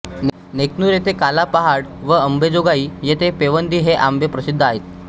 नेकनूर येथे काला पहाड व अंबेजोगाई येथे पेवंदी हे आंबे प्रसिद्ध आहेत